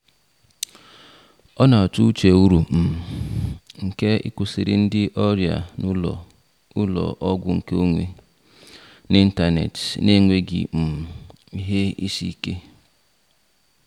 O na-atụ uche uru um nke ịkwụsịrị ndị ọrịa na ụlọ ụlọ ọgwụ nkeonwe n'ịntanetị na-enweghị um ihe isi ike.